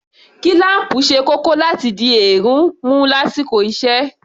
Kílám̀pù ṣe kókó láti dí èérún mú lásìkò iṣẹ́